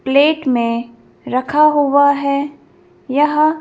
plate में रखा हुआ है यह--